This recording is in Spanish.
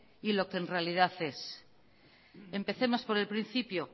y lo que en realidad es empecemos por el principio